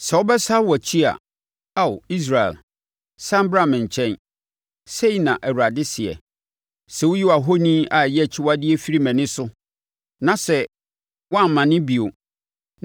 “Sɛ wobɛsane wʼakyi a Ao, Israel, sane bra me nkyɛn,” sei na Awurade seɛ. “Sɛ woyi wʼahoni a ɛyɛ akyiwadeɛ firi mʼani so na sɛ woammane bio,